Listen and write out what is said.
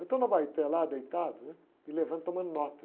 Eu estou na lá, deitado, né? E levando, tomando nota.